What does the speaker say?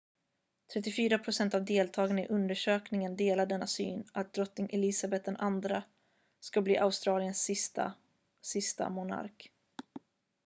34 procent av deltagarna i undersökningen delar denna syn att drottning elisabeth ii ska bli australiens sista sista monark